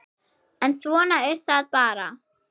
En svona er það bara.